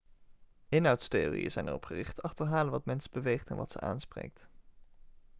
inhoudstheorieën zijn erop gericht te achterhalen wat mensen beweegt en wat ze aanspreekt